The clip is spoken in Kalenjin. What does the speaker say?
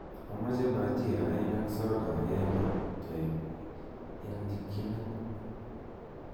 amoche bhajia oeng'and soda agenge teeb en chikyinet